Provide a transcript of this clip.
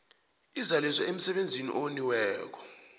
izaliswe msebenzi owoniweko